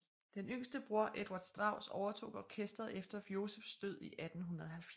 Den yngste bror Eduard Strauss overtog orkesteret efter Josephs død i 1870